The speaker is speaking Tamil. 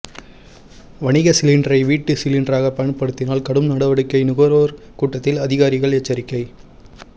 வணிக சிலிண்டரை வீட்டு சிலிண்டராக பயன்படுத்தினால் கடும் நடவடிக்கை நுகர்வோர் கூட்டத்தில் அதிகாரிகள் எச்சரிக்கை